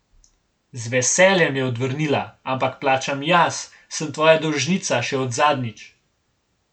Z veseljem, je odvrnila, ampak plačam jaz, sem tvoja dolžnica še od zadnjič.